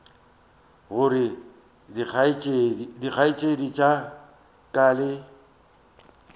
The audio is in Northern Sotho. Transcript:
gore dikgaetšedi tša ka le